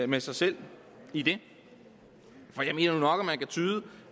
med sig selv i det for jeg mener nu nok at man kan tyde